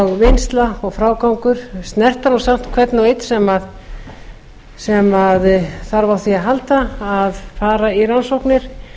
vinnsla og frágangur snerta samt hvern og einn sem þarf á því að halda að fara í rannsóknir